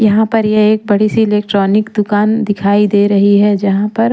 यहाँ पर ये एक बड़ी सी इलेक्ट्रॉनिक दुकान दिखाई दे रही है जहाँ पर--